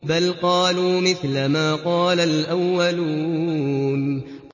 بَلْ قَالُوا مِثْلَ مَا قَالَ الْأَوَّلُونَ